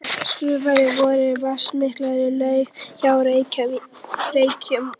Skagafirði eru vatnsmiklar laugar hjá Reykjum og